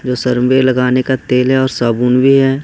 जो सर में लगाने का तेल है और साबुन भी है।